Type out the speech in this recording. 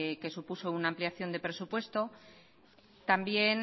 que supuso una ampliación de presupuesto también